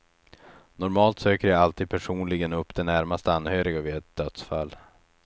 Normalt söker jag alltid personligen upp de närmast anhöriga vid ett dödsfall.